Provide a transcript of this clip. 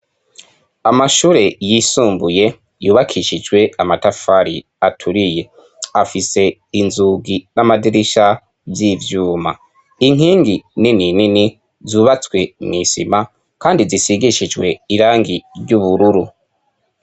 Amashure yisumbuye yubakishijwe amatafari aturiye afise inzugi n'amadirisha vy'ivyuma. Inkingi nini nini zubatswe mw'isima kandi zisigishijwe irangi ry'ubururu.